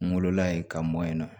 N wolola yen ka mɔ yen nɔ